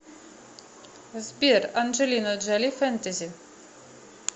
сбер анджелина джоли фэнтези